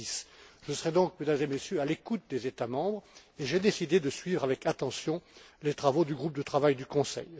2006. Je serai donc, Mesdames et Messieurs, à l'écoute des États membres et j'ai décidé de suivre avec attention les travaux du groupe de travail du Conseil.